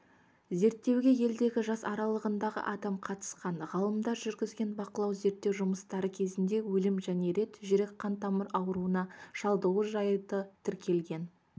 зерттеуге елдегі жас аралығындағы адам қатысқан ғалымдар жүргізген бақылау-зерттеу жұмыстары кезінде өлім және рет жүрек-қантамыр ауруына шалдығу жайты тіркелген